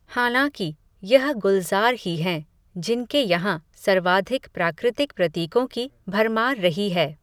हालाँकि, यह गुलज़ार ही हैं, जिनके यहाँ, सर्वाधिक प्राकृतिक प्रतीकों की, भरमार रही है